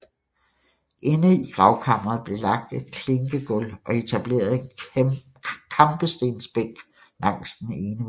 Inde i gravkammeret blev lagt et klinkegulv og etableret en kampestensbænk langs den ene væg